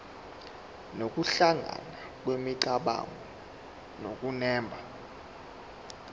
nokuhlangana kwemicabango nokunemba